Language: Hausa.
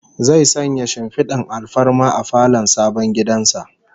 Zai sanya shimfidar alfarma a falon sabon gidan sa